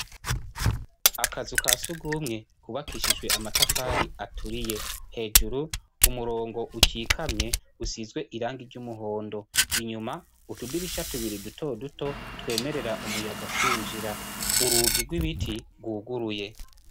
Akazu kasugumwe kubakishijwe amatafari aturiye hejuru umurongo ukikamye usizwe irangi ry ' umuhondo inyuma utudirisha tubiri duto duto twemerera umuyaga kwinjira urugi rw' ibiti rwuguruye .